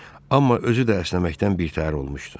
Amma özü də əsnəməkdən birtəhər olmuşdu.